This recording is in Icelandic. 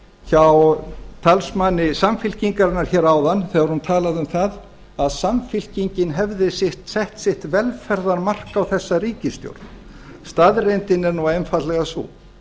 hjá talsmanni samfylkingarinnar hér áðan þegar hún talaði um það að samfylkingin hefði sett sitt velferðarmark á þessa ríkisstjórn staðreyndin er einfaldlega sú